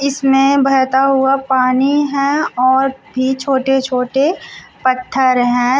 इसमें बहता हुआ पानी है और भी छोटे छोटे पत्थर है।